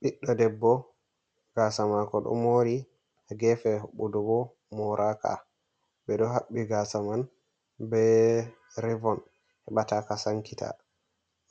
Ɓiɗɗo debbo gasa mako ɗo mori, gefe hoɓɓudu bo moraka. Ɓeɗo haɓɓi gasa man be revon heɓa ta ka sankita,